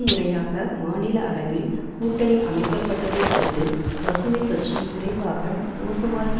முறையாக மாநில அளவில் கூட்டணி அமைக்கப்பட்டதை அடுத்து பசுமை கட்சி விரைவாக மோசமாகி